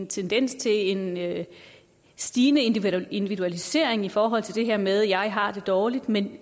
tendens til en stigende individualisering i forhold til det her med at sige jeg har det dårligt men